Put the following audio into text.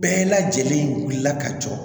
Bɛɛ lajɛlen wulila ka jɔ